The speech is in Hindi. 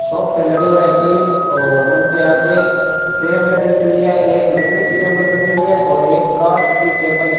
शॉप पे लगे हुए है तीन और उनके आगे टैबले रखी हुई है एक लकड़ी की टेबल रखी हुई है और एक कांच की टेबल --